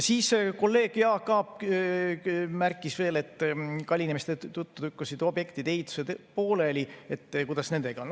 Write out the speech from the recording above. Kolleeg Jaak Aab märkis veel, et kallinemiste tõttu lükkusid objektide ehitused edasi, jäid pooleli, et kuidas nendega on.